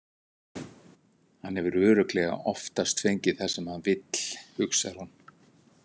Hann hefur örugglega oftast fengið það sem hann vill, hugsar hún.